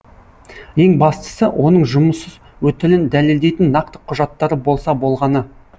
ең бастысы оның жұмыс өтілін дәлелдейтін нақты құжаттары болса болғаны